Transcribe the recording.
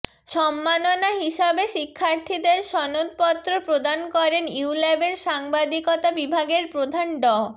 সম্মাননা হিসেবে শিক্ষার্থীদের সনদপত্র প্রদান করেন ইউল্যাবের সাংবাদিকতা বিভাগের প্রধান ড